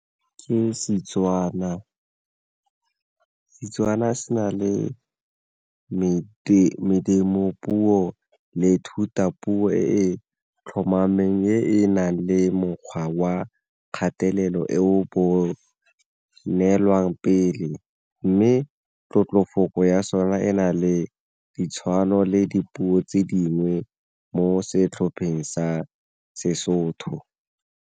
Ke Setswana, Setswana se na le puo le thutapuo e tlhomameng e e nang le mokgwa wa kgatelelo e bonelwang pele, mme tlotlomafoko ya sona e na le ditshwano le dipuo tse dingwe mo setlhopheng sa seSotho.